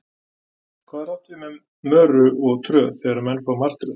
hvað er átt við með möru og tröð þegar menn fá martröð